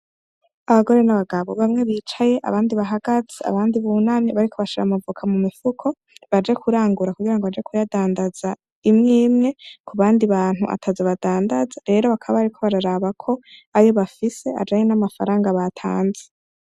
Abagore n'abagabo bamwe bicaye abandi bahagaze abandi bunami bariko bashara amavuka mu mifuko baje kurangura kugira ngo baja kuyadandaza imwemwe ku bandi bantu ataza badandaza rero bakaba, ariko bararabako aryo bafise ajanye n'amafaranga batanze.